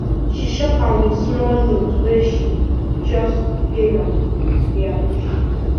she shock am with small note wey she just dey hail am dey appreciate am